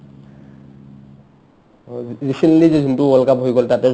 অ, recently যি যোনটো world cup হৈ গ'ল তাতে